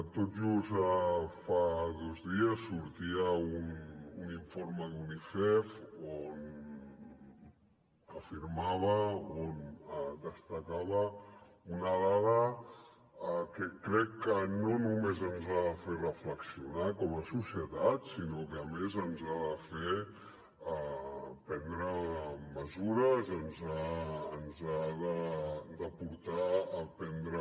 tot just fa dos dies sortia un informe d’unicef on afirmava on destacava una dada que crec que no només ens ha de fer reflexionar com a societat sinó que a més ens ha de fer prendre mesures ens ha de portar a prendre